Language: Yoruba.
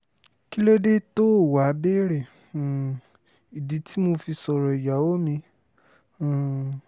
kí ló dé tóò wáá béèrè um ìdí tí mo fi sọ̀rọ̀ ìyàwó mi um